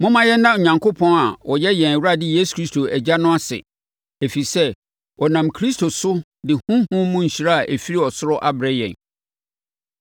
Momma yɛnna Onyankopɔn a ɔyɛ yɛn Awurade Yesu Kristo Agya no ase, ɛfiri sɛ, ɔnam Kristo so de honhom mu nhyira a ɛfiri ɔsoro abrɛ yɛn.